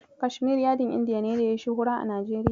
Kashmir yadin Indiya ne da yayi shuhura a Najeriya.